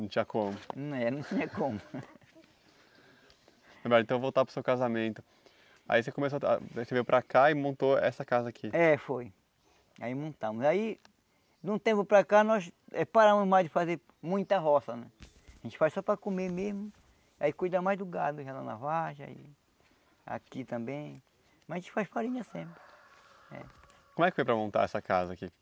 não tinha como, é não tinha como então voltar para o seu casamento aí você começou ah aí você veio para cá e montou essa casa aqui é, foi aí montamos aí de um tempo para cá nós eh paramos mais de fazer muita roça a gente faz só para comer mesmo aí cuida mais do gado leva na vargem aqui também mas a gente faz farinha sempre eh como é que foi para montar essa casa aqui?